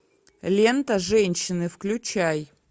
лента женщины включай